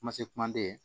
Kuma se kumaden